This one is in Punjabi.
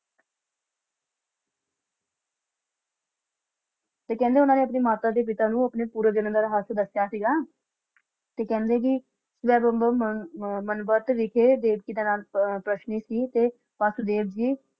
ਤੇ ਕਹਿੰਦੇ ਉੰਨਾ ਨੇ ਆਪਣੇ ਮਾਤਾ ਤੇ ਪਿਤਾ ਨੂੰ ਆਪਣੇ ਪੂਰੇ ਚ ਰੱਖਿਆ ਸੀਗਾ ਤੇ ਕਹਿੰਦੇ ਕਿ ਦੇਵਕੀ ਸੀ ਤੇ ਵਾਸੁਦੇਵ ਜੀ